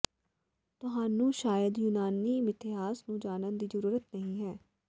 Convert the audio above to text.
ਤੁਹਾਨੂੰ ਸ਼ਾਇਦ ਯੂਨਾਨੀ ਮਿਥਿਹਾਸ ਨੂੰ ਜਾਣਨ ਦੀ ਜ਼ਰੂਰਤ ਨਹੀਂ ਹੈ